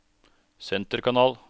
senterkanal